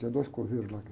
Tinha dois coveiros lá que